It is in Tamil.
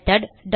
மெத்தோட்